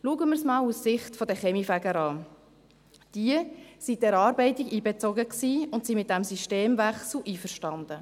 Schauen wir es einmal aus Sicht der Kaminfeger an: Diese waren in die Erarbeitung einbezogen und sind mit dem Systemwechsel einverstanden.